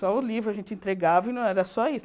Só o livro a gente entregava e não era só isso.